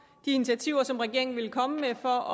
de initiativer som regeringen vil komme med for